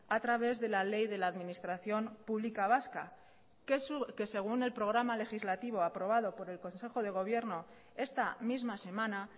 a través de la ley de la administración pública vasca que según el programa legislativo aprobado por el consejo de gobierno esta misma semana